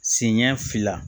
Sen ɲɛ fila